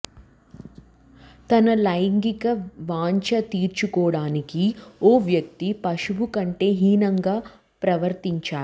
తన లైంగిక వాంఛ తీర్చుకోడానికి ఓ వ్యక్తి పశువు కంటే హీనంగా ప్రవర్తించాడు